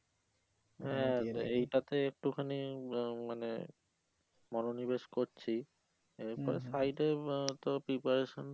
এইটাতে একটুখানি বা বা মানে মনো নিবেশ করছি এরপর side এ আহ তো preparation